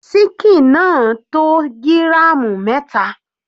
Síkìn náà tó gíràmù mẹta.